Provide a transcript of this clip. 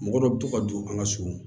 Mɔgɔ dɔ bɛ to ka don an ka so